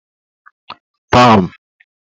pam